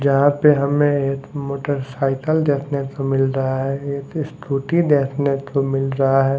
यहां पे हमें एक मोटरसाइकल देखने को मिल रहा है एक स्कूटी देखने को मिल रहा है।